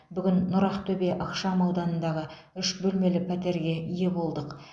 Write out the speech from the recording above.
бүгін нұр ақтөбе ықшам ауданындағы үш бөлмелі пәтерге ие болдық